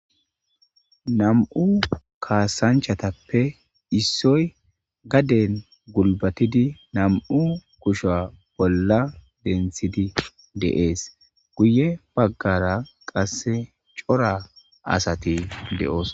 nam7u kaasanchatappe issoy gaden gulbatidi nam7u kusha bolla denthidi deees guye baggara qasse cora asati de7oos